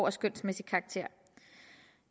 af skønsmæssig karakter